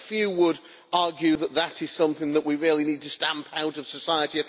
I think few would argue that this is something we really need to stamp out of society.